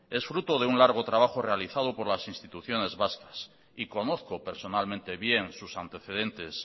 es fruto de un largo trabajo realizado por las instituciones vascas y conozco personalmente bien sus antecedentes